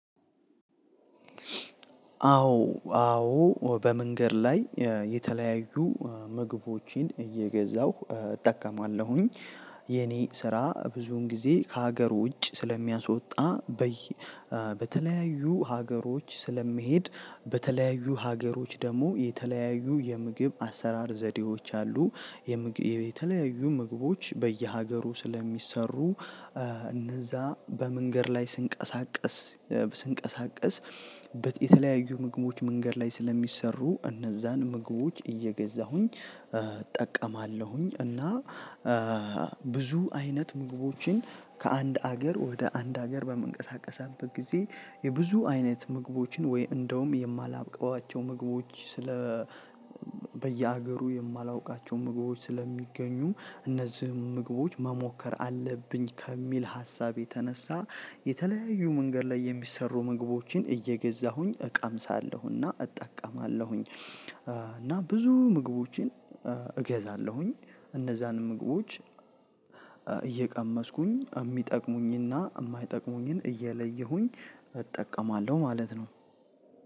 አዎ አዎ በመንገድ ላይ የተለያዩ ምግቦችን እየገዛሁ እጠቀማለሁኝ። የኔ ስራ ብዙን ጊዜ ከሀገር ውጭ ስለሚያስወጣ በተለያዩ ሀገሮች ስለምሔድ በተለያዩ ሀገሮች ደግሞ የተለያዩ የምግብ አሰራር ዘዴዎች አሉ። የተለያዩ ምግቦች በየሀገሩ ስለሚሰሩ እነዛ በመንገድ ላይ ስንቀሳቀስ ስንቀሳቀስ የተለያዩ ምግቦች መንገድ ላይ ስለሚሰሩ እነዛን ምግቦች እየገዛሁኝ እጠቀማለሁኝ እና ብዙ አይነት ምግቦችን ከአንድ ሀገር ወደ አንድ ሀገር በመንቀሳቀስበት ጊዜ የብዙ አይነት ምግቦችን ወይ እንደውም የማላብቀዋቸው ምግቦች ስለ በየሀገሩ የማላውቃቸው ምግቦች ስለሚገኙም እነዚህም ምግቦች መሞከር አለብኝ ከሚል ሀሳብ የተነሳ የተለያዩ መንገድ ላይ የሚሰሩ ምግቦችን እየገዛሁኝ እቀምሳለሁና እጠቀማለሁኝ እና ብዙ ምግቦችን እገዛለሁኝ እነዛን ምግቦች እየቀመስኩኝ የሚጠቅሙኝና የማይጠቅሙኝን እየለየሁኝ እጠቀማለሁ ማለት ነው።